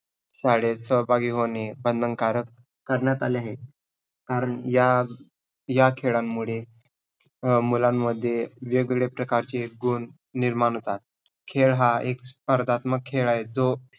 शाळेत सहभागी होणे बंधनकारक करण्यात आले आहेत, कारण या या खेळांमुळे अं मुलांमध्ये वेग-वेगळ्या प्रकारचे गुण निर्माण होतात. खेळ हा एक स्पर्धात्मक खेळ आहे जो